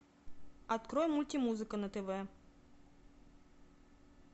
открой мультимузыка на тв